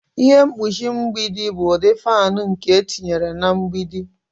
Ihe mkpuchi mgbidi bụ ụdị fan nke etinyere na mgbidi.